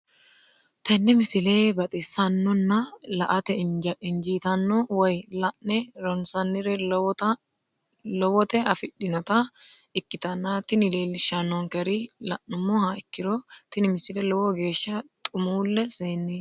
tenne misile baxisannonna la"ate injiitanno woy la'ne ronsannire lowote afidhinota ikkitanna tini leellishshannonkeri la'nummoha ikkiro tini misile lowo geeshsha xumuulle seenneeti.